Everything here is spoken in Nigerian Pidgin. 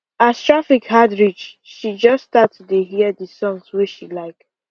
as traffic hard reach she just start to dey hear the songs wey she like